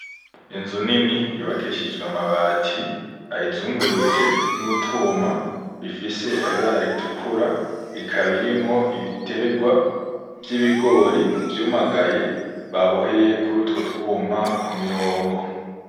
Inzu nini yubakishijwe amabati ayizungurutse nutwuma dufise ibara ritukura ikaba irimwo ibiterwa vyibigori vyumyagaye baboheye kurutwo twuma kumirongo.